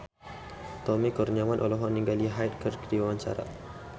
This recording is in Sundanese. Tommy Kurniawan olohok ningali Hyde keur diwawancara